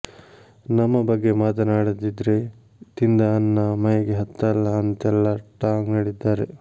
ನಮ್ಮ ಬಗ್ಗೆ ಮಾತನಾಡದಿದ್ರೆ ತಿಂದ ಅನ್ನ ಮೈಗೆ ಹತ್ತಲ್ಲ ಅಂತೆಲ್ಲ ಟಾಂಗ್ ನೀಡಿದ್ದಾರೆ